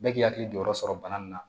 Bɛɛ k'i hakili jɔyɔrɔ sɔrɔ bana nin na